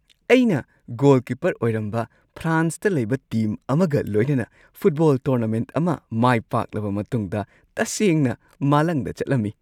ꯑꯩꯅ ꯒꯣꯜꯀꯤꯄꯔ ꯑꯣꯏꯔꯝꯕ ꯐ꯭ꯔꯥꯟꯁꯇ ꯂꯩꯕ ꯇꯤꯝ ꯑꯃꯒ ꯂꯣꯏꯅꯅ ꯐꯨꯠꯕꯣꯜ ꯇꯣꯔꯅꯥꯃꯦꯟꯠ ꯑꯃ ꯃꯥꯏ ꯄꯥꯛꯂꯕ ꯃꯇꯨꯡꯗ ꯇꯁꯦꯡꯅ ꯃꯥꯂꯪꯗ ꯆꯠꯂꯝꯃꯤ ꯫